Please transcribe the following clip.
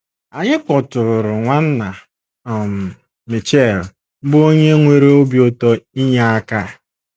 Anyị kpọtụụrụ Nwanna um Mitchell, bụ́ onye nwere obi ụtọ inye aka.